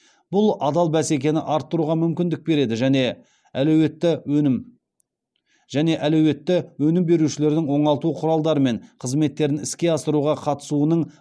бұл адал бәсекені арттыруға мүмкіндік береді және әлеуетті өнім берушілердің оңалту құралдары мен қызметтерін іске асыруға қатысуының